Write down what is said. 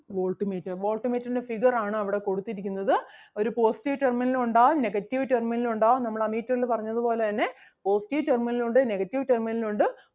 volt meter volt meter ൻ്റെ figure ആണ് അവിടെ കൊടുത്തിരിക്കുന്നത്. ഒരു positive terminal ഉം ഉണ്ടാകും negative terminal ഉം ഉണ്ടാകും നമ്മൾ ammeter ല് പറഞ്ഞത് പോലെ തന്നെ positive terminal ഉം ഉണ്ട് negative terminal ഉം ഉണ്ട്